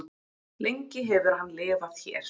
lengi hefur hann lifað hér